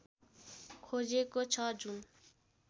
खोजेको छ जुन